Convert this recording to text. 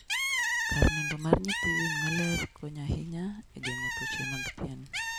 kar nindo mar nyithii winy maler konyo ahinya e geng'o tuoche mag pien.